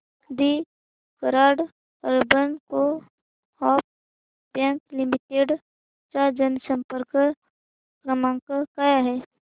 दि Karad urban coop bank limited चा जनसंपर्क क्रमांक काय आहे